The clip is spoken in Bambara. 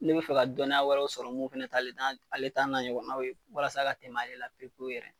Ne bɛ fɛ ka dɔnniya wɛrɛw sɔrɔ mun fɛnɛ t'ale ta ale ta n'a ye n'aw ye walasa ka tɛm'ale la pewu pewu yɛrɛ